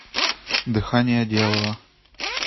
дыхание дьявола